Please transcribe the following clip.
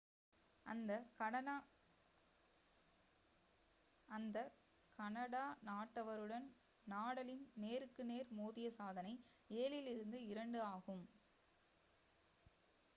அந்த கனடா நாட்டவருடன் நடாலின் நேருக்கு நேர் மோதிய சாதனை 7-2 ஆகும்